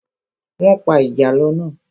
Wọ́n pa ìjàlọ́ náà.